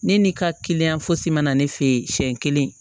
Ne ni ka kiliyan fosi ma na ne fɛ yen siɲɛ kelen